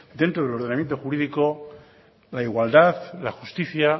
dentro del ordenamiento jurídico la igualdad la justicia